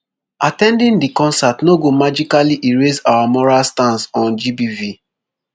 at ten ding di concert no go magically erase our moral stance on gbv